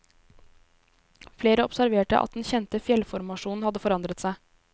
Flere observerte at den kjente fjellformasjonen hadde forandret seg.